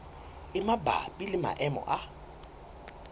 e mabapi le maemo a